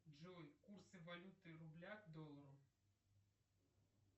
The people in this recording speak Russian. джой курсы валюты рубля к доллару